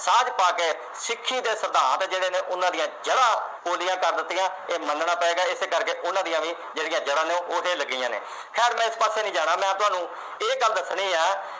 ਸਾਂਝ ਪਾ ਕੇ ਸਿੱਖੀ ਦੇ ਸਿਧਾਂਤ ਜਿਹੜੇ ਨੇ ਉਹਨਾਂ ਦੀਆਂ ਜੜ੍ਹਾਂ ਪੋਲੀਆਂ ਕਰ ਦਿੱਤੀਆਂ ਇਹ ਮੰਨਣਾ ਪਵੇਗਾ ਇਸ ਕਰਕੇ ਉਨ੍ਹਾਂ ਦੀਆਂ ਵੀ ਜਿਹੜੀਆਂ ਜੜ੍ਹਾਂ ਨੇ ਲੱਗੀਆਂ ਖੈਰ ਮੈਂ ਇਸ ਪਾਸੇ ਨਹੀਂ ਜਾਣਾ ਮੈਂ ਤੁਹਾਨੂੰ ਇਹ ਗੱਲ ਦੱਸਣੀ ਹੈ